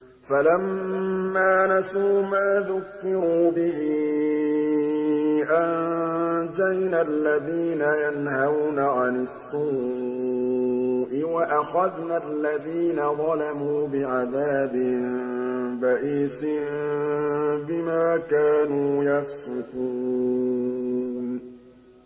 فَلَمَّا نَسُوا مَا ذُكِّرُوا بِهِ أَنجَيْنَا الَّذِينَ يَنْهَوْنَ عَنِ السُّوءِ وَأَخَذْنَا الَّذِينَ ظَلَمُوا بِعَذَابٍ بَئِيسٍ بِمَا كَانُوا يَفْسُقُونَ